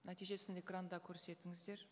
нәтижесін экранда көрсетіңіздер